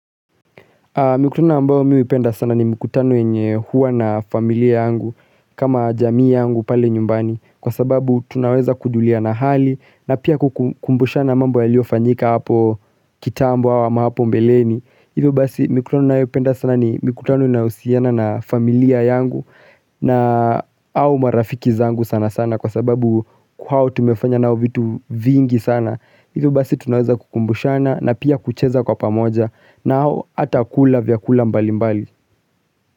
Mikutano ambayo mimi huipenda sana ni mikutano yenye huwa na familia yangu kama jamii yangu pale nyumbani kwa sababu tunaweza kujuliana hali na pia kukumbushana mambo yaliofanyika hapo kitambo ama hapo mbeleni Hivyo basi mikutana ninayopenda sana ni mikutano inayohusiana na familia yangu na au marafiki zangu sana sana kwa sababu kwao tumefanya nao vitu vingi sana. Hivyo basi tunaweza kukumbushana na pia kucheza kwa pamoja na au hata kula vyakula mbali mbali.